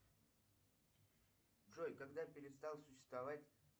джой когда перестал существовать